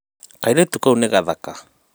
kairĩtu kau nĩ gathaka